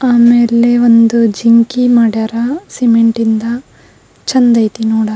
ಆಮೇಲೆ ಒಂದು ಜಿಂಕಿ ಮಾಡ್ಯಾರ ಸಿಮೆಂಟ್ ಇಂದ ಚೆಂದ ಆಯ್ತಿ ನೋಡಾಕ.